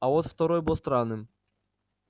а вот второй был странным